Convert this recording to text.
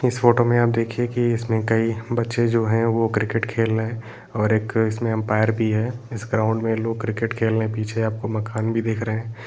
इस फोटो में आप देखिए कि इसमे कई बच्चे जो है वो क्रिकेट खेल रहे हैं और एक इसमे एम्पयार भी है इस ग्राउंड में लोग क्रिकेट खेल रहे हैं पीछे आपको मकान भी दिख रहे है।